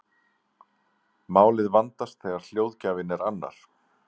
málið vandast þegar hljóðgjafinn er annar